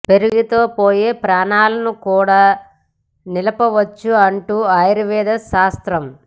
పెరుగుతో పోయే ప్రాణాలను కూడా నిలుపవచ్చు అంటుంది ఆయుర్వేద శాస్త్రం